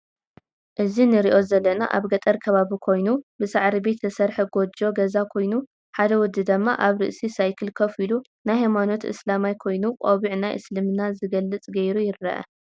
እዚ ንርኦ ዘለና ኣብ ገጠር ከባቢ ኮይኑ ብሳዕሪ ቤት ዝተሰርሐ ጎጆ ገዛ ኮይኑ ሓደ ወዲ ድማ ኣብ ርእስ ሳይክል ከፍ ኢሉ ናይ ሃይማኖት እስላማይ ኮይኑ ቆብዕ ናይ እስልምና ዝገልፅ ገይሩ ይረእየና